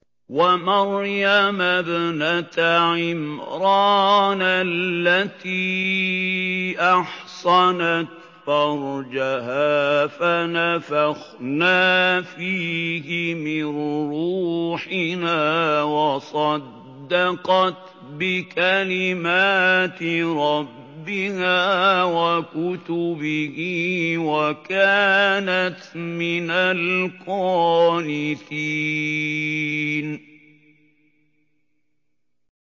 وَمَرْيَمَ ابْنَتَ عِمْرَانَ الَّتِي أَحْصَنَتْ فَرْجَهَا فَنَفَخْنَا فِيهِ مِن رُّوحِنَا وَصَدَّقَتْ بِكَلِمَاتِ رَبِّهَا وَكُتُبِهِ وَكَانَتْ مِنَ الْقَانِتِينَ